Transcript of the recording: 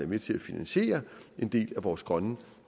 med til at finansiere en del af vores grønne